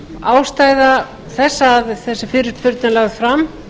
ástæða þess að þessi fyrirspurn er lögð fram